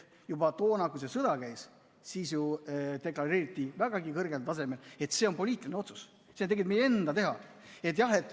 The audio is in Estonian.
Juba toona, kui see sõda käis, deklareeriti ju vägagi kõrgel tasemel, et see on poliitiline otsus ja see on tegelikult meie enda teha.